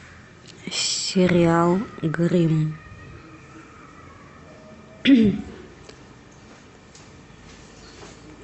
сериал гримм